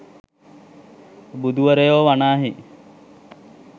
බුදුවරයෝ වනාහි